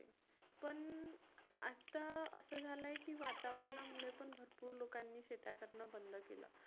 पण आता असं झालं की वातावरणामुळे पण भरपूर लोकांनी शेत्या करणं बंद केलं.